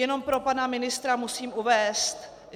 Jenom pro pana ministra musím uvést, že -